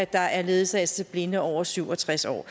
der er ledsagelse til blinde over syv og tres år